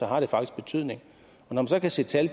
har det faktisk betydning når man så kan se tal